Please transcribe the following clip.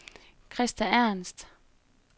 Krista Ernst